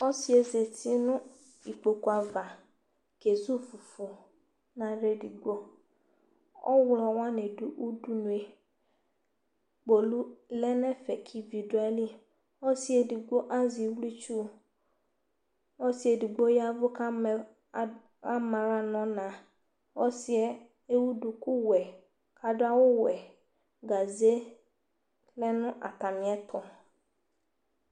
Ɔsɩ zati nʋ ikpoku ava kezu fufu nʋ aɣla edigbo Ɔɣlɔ wanɩ dʋ udunu yɛ Kpolu lɛ nʋ ɛfɛ kʋ ivi dʋ ayili Ɔsɩ edigbo azɛ iwluitsu Ɔsɩ edigbo ya ɛvʋ kʋ ama ad ama aɣla nʋ ɔna Ɔsɩ yɛ ewu dukuwɛ kʋ adʋ awʋwɛ Gaze lɛ nʋ atamɩɛtʋ